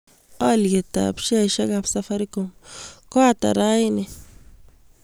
Alyetap sheaisiekap Safaricom ko ata eng' raini